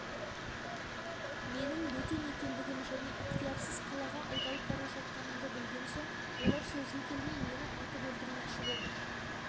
менің бөтен екендігім және ықтиярсыз қалаға айдалып бара жатқанымды білген соң олар сөзге келмей мені атып өлтірмекші болды